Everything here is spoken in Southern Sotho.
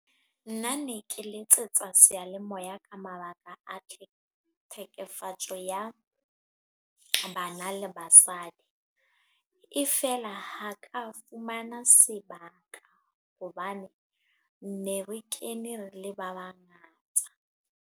Nna ne ke letsetsa seyalemoya ka mabaka a tlhekefetso ya bana le basadi. E feela ha ka fumana sebaka, hobane ne re kene re le ba bangata.